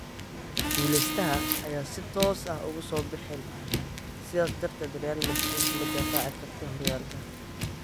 Guuleystaha ayaan si toos ah ugu soo bixin, sidaas darteed Real Madrid ma difaaci karto horyaalka.